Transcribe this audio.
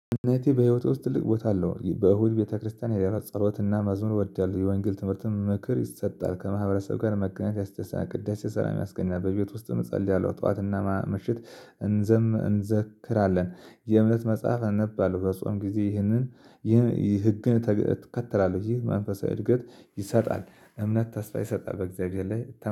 እምነቴ በህይወቴ ውስጥ ትልቅ ቦታ አለው። በእሁድ ቤተክርስቲያን እሄዳለሁ ጸሎትና መዝሙር እወዳለሁ የወንጌል ትምህርት ምክር ይሰጣል። ከማህበረሰብ ጋር መገናኘት ያስደስታል። ቅዳሴ ሰላም ያስገኛል። በቤት ውስጥም እንጸልያለሁ። ጠዋትና ምሽት እንዘም እንዘክራለን። የእምነት መጽሐፍ አንባለው። በጾም ጊዜ ይህንን ህግን እከተላለሁ። ይህ መንፈሳዊ እድገት ይሰጣል። እምነት ተስፋ ይሰጣል። በእግዚአብሔር ላይ